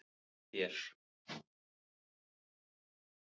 Þú sagðir: Fyrirgefðu þér.